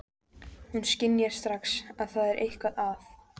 Hún skynjar strax að það er eitthvað að.